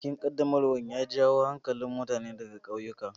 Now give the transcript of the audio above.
Bikin ƙaddamarwar ya jawo hankalin mutane ɗaga kauyukan.